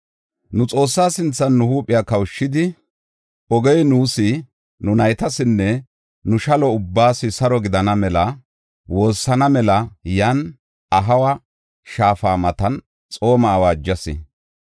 Nu Xoossaa sinthan nu huuphiya kawushidi, ogey nuus, nu naytasinne nu shalo ubbaas saro gidana mela woossana mela yan Ahawa Shaafa matan xooma awaajas.